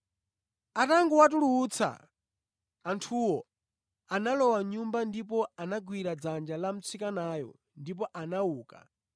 Atangowatulutsa anthuwo, analowa mʼnyumba ndipo anagwira dzanja la mtsikanayo ndipo anauka.